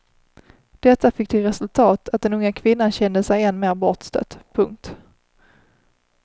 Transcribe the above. Detta fick till resultat att den unga kvinnan kände sig än mer bortstött. punkt